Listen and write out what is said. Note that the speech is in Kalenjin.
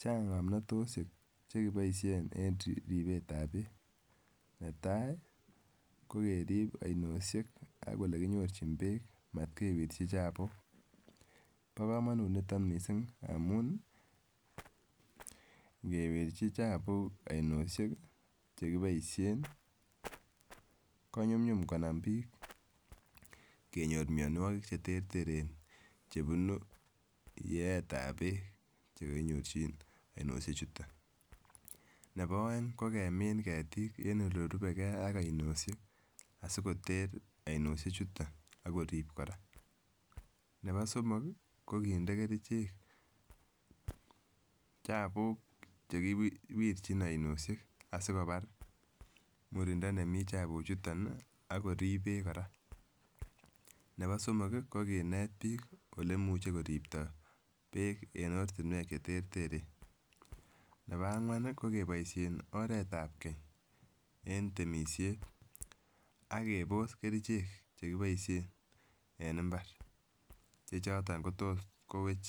Chang ngomnotoshek chekiboishen en ribet ab beek netai ko kerib oinoshek ak olekinyorchi beek motkewirchi chabuuk. Bo komonut niton missing amun ngewirchi chabuuk oinoshek chekiboishen konyumyum konam bik kenyor mionwokik cheterteren chebunu yeet ab beek chekinyorchi oinoshek chuton, nebo oeng ko kemin ketik en olebo oinoshek asikoter oinoshek chuton ak korib Koraa, nebo somok kii ko kinde kerichek chabuuk chekiwirchi oinoshek asikobar murindo nemii chabuuk chuton Nii ak korib beek Koraa, nebo somok kii ko kinet beek ole imuche koripto beek en ortinwek cheterteren, nebo angwan Nii ko keboishen oret ab Kenya en temishet ak keribe kerichek chekiboishen en imbaret che choton kotot kowech